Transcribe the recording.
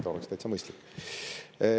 See oleks täitsa mõistlik.